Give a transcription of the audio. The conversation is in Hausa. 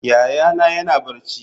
Yayana yana barci.